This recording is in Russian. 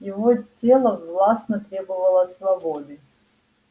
его тело властно требовало свободы